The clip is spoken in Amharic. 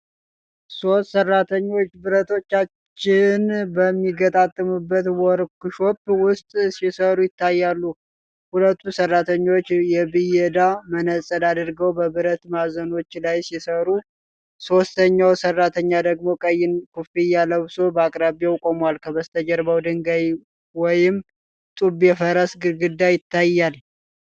ሦስት ሠራተኞች ብረቶችን በሚገጣጠምበት ወርክሾፕ ውስጥ ሲሠሩ ይታያሉ። ሁለቱ ሠራተኞች የብየዳ መነጽር አድርገው በብረት ማዕዘኖች ላይ ሲሠሩ፣ ሦስተኛው ሠራተኛ ደግሞ ቀይ ኮፍያ ለብሶ በአቅራቢያው ቆሟል። ከበስተጀርባ ድንጋይ ወይም ጡብ የፈረሰ ግድግዳ ይታያል።